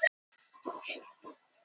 Það er skrítið.